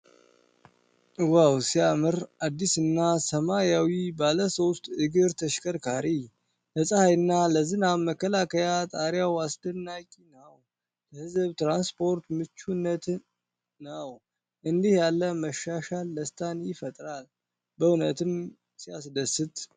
ዋው ሲያምር! አዲስና ሰማያዊ ባለሶስት እግር ተሽከርካሪ። ለፀሐይና ለዝናብ መከላከያ ጣሪያው አስደናቂ ነው። ለሕዝብ ትራንስፖርት ምቹነትን ነው። እንዲህ ያለው መሻሻል ደስታን ይፈጥራል። በእውነትም ሲያስደስት!